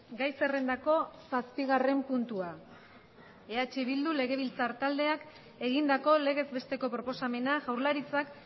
gai zerrendako zazpigarren puntua eh bildu legebiltzar taldeak egindako legez besteko proposamena jaurlaritzak